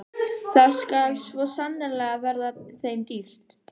Það skal svo sannarlega verða þeim dýrt!